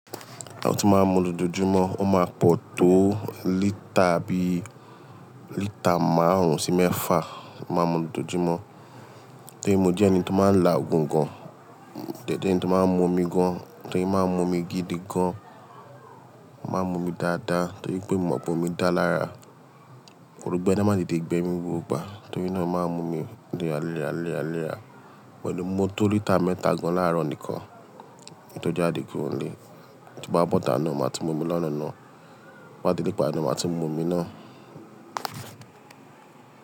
Àwọn tí máa ń mu lojoojumo, ó máa pọ̀ tó lítà bí lítà márùn-ún sí mẹ́fà máa ń mu lojoojumo. Torí mo jẹ́ ẹni tó máa ń la ògùn gan, mode je ẹni tó máa ń mu omi gan, torí máa ń mu omi gidi gan, máa ń mu omi dáadáa torí pé mo mọ̀ pé omi dáa lára. Òrogbé de máa te tẹ̀ gbẹmí gbogbo gba, torí náà máa ń mu omi léra, léra, léra, léra. Pẹ̀lú mo tó lítà mẹ́ta gan láàárọ̀ nìkan, kin jáde kuro nile. Tí bá bọ́ ìta náà, màá ti mu omi lọ́nà náà. Tí n bá délé, ìgbà yẹn ni màá tún mu omi náà.